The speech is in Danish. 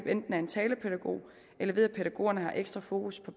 enten en talepædagog eller ved at pædagogerne har ekstra fokus på